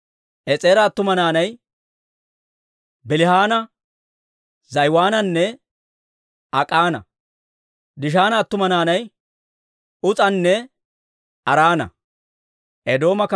Es'eera attuma naanay Bilihaana, Za'iwaananne Ak'ana. Dishaana attuma naanay Uus'anne Araana.